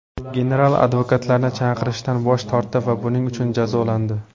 General advokatlarni chaqirishdan bosh tortdi va buning uchun jazolandi.